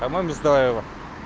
по-моему стоило